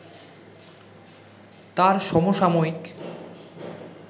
তাঁর সমসাময়িক